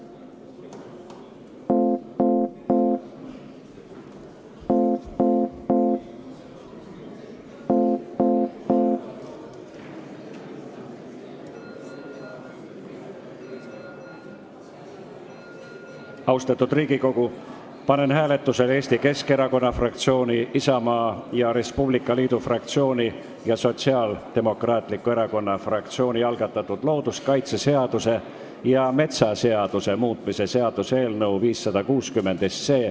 Austatud Riigikogu, panen hääletusele Eesti Keskerakonna fraktsiooni, Isamaa ja Res Publica Liidu fraktsiooni ning Sotsiaaldemokraatliku Erakonna fraktsiooni algatatud looduskaitseseaduse ja metsaseaduse muutmise seaduse eelnõu 560.